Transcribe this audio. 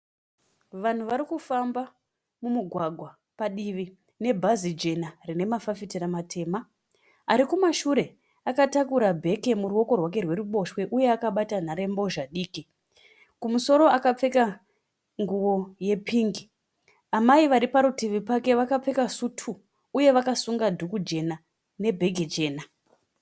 Vanhu vari kufamba mumugwagwa padivi nebhazi jena rine mafafitera matema. Ari kumashure akatakura bhegi kurooko rwake rweruboshwe uye akabata nhare mbhozha diki. Kumusoro akapfeka nguwo yepingi. Amai vari parutivi pake vaakapfeka sutu uye vakasunga dhuku jena nebhegi jena.